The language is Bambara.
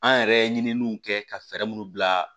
An yɛrɛ ye ɲininiw kɛ ka fɛɛrɛ munnu bila